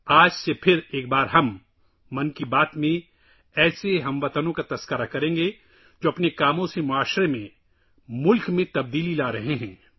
آج سے ایک بار پھر ‘من کی بات’ میں ہم ایسے ہم وطنوں کے بارے میں بات کریں گے جو اپنے کام سے سماج اور ملک میں تبدیلی لا رہے ہیں